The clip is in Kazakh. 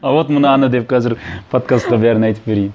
а вот мынаны деп қазір подкастқа бәрін айтып берейін